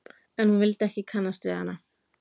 En hún vildi ekki kannast við hana.